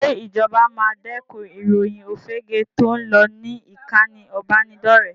Ṣé ìjọba máa dẹ́kun ìròyìn òfegèé tó ń lọ ní ìkànì ìbánidọ́rẹ̀ẹ́?